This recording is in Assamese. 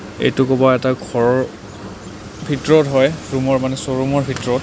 এইটো কুবা এটা ঘৰ ভিতৰত হয় মানে ৰুম ৰ মানে চ'ৰুম ৰ ভিতৰত.